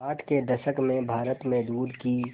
साठ के दशक में भारत में दूध की